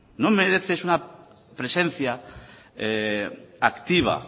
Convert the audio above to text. no merece eso una presencia activa